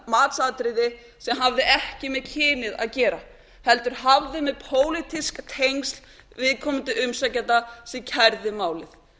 matsatriði sem hafði ekki með kynið að gera heldur hafði með pólitísk tengsl viðkomandi umsækjanda sem kærði málið